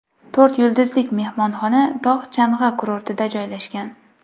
To‘rt yulduzlik mehmonxona tog‘-chang‘i kurortida joylashgan.